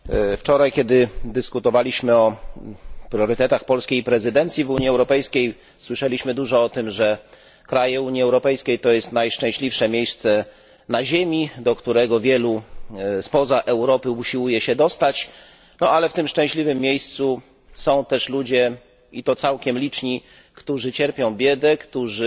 Wczoraj, kiedy prowadziliśmy dyskusję na temat priorytetów polskiej prezydencji w Unii Europejskiej, słyszeliśmy dużo o tym, że państwa Unii Europejskiej to jest najszczęśliwsze miejsce na Ziemi, do którego wielu spoza Europy usiłuje się dostać. Jednak w tym szczęśliwym miejscu są też ludzie, i to całkiem liczni, którzy cierpią biedę, którzy